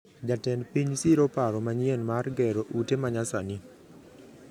Jatend piny siro paro manyien mar gero ute manyasani